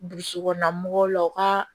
Burusi kɔnɔna mɔgɔw la o ka